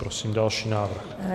Prosím další návrh.